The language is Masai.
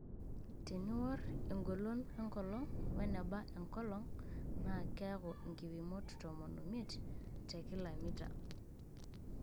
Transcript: Teniworr engolon enkolong' weneba enkolong naa keku nkipimot tomon omiet tekila mita.